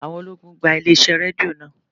Àwọn ológun gba ilé iṣẹ́ Rédíò náà.